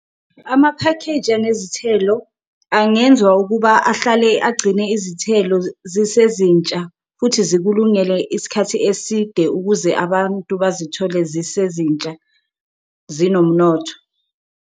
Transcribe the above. Amaphakheji anezithelo angenzwa ukuba ahlale agcine izithelo zisezintsha futhi zikulungele isikhathi eside, ukuze abantu bazithole zisezintsha zinomnotho.